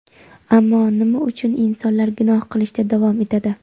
ammo nima uchun insonlar gunoh qilishda davom etadi?.